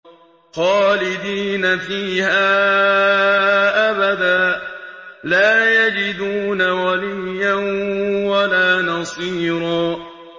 خَالِدِينَ فِيهَا أَبَدًا ۖ لَّا يَجِدُونَ وَلِيًّا وَلَا نَصِيرًا